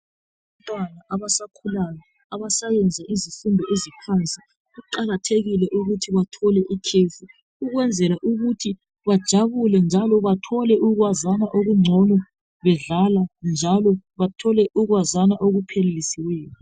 Abantwana abasakhulayo, abasayenza izifundo eziphansi, kuqakathekile ukuthi bathole ikhefu ukwenzela ukuthi bajabule njalo bethole ukwazana okungcono bedlala njalo bethole ukuyazana okuphelelisiweyo.